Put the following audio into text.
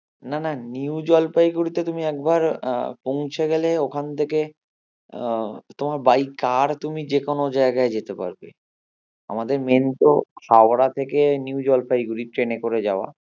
না না নিউ জলপাইগুড়িতে তুমি একবার আহ পৌঁছে গেলে ওখান থেকে আহ তোমার by car তুমি যেকোনো জায়গায় যেতে পারবে আমাদের main তো হাওড়া থেকে নিউ জলপাইগুড়ি ট্রেনে করে যাওয়া